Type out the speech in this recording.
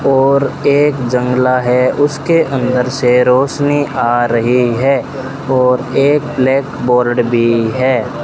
और एक जंगला है उसके अंदर से रोशनी आ रही है और एक ब्लैक बोर्ड भी है।